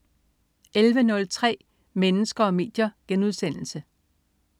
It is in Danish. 11.03 Mennesker og medier*